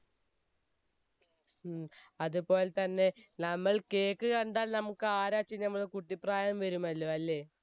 ഉം അതെപോലെ തന്നെ നമ്മൾ cake കണ്ടാൽ നമുക്ക് ആരാച്ചന്ന നമ്മളെ കുട്ടിപ്രായം വരുമല്ലോ അല്ലെ